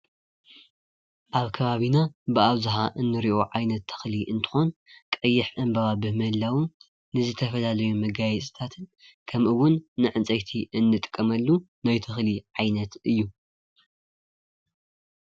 ኣብ ኸባቢና ብኣብዝሓ እንሪኦ ዓይነት ተኽሊ እንትኾን ቀይሕ ዕንበባ ብምህላው ንዝተፈላለዩ መጋየፅታት ከምኡ እውን ንዕንፀይቲ እንጥቀመሉን ናይ ተኽሊ ዓይነት እዩ።